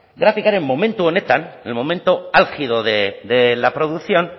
grafikaren momentu honetan el momento álgido de la producción